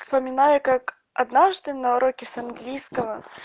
вспоминаю как однажды на уроке с английского